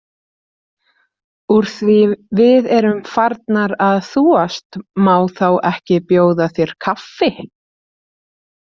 Úr því við erum farnar að þúast, má þá ekki bjóða þér kaffi?